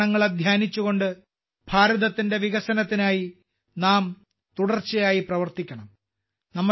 പഞ്ചപ്രണങ്ങളെ ധ്യാനിച്ചുകൊണ്ട് ഭാരതത്തിന്റെ വികസനത്തിനായി നാം തുടർച്ചയായി പ്രവർത്തിക്കണം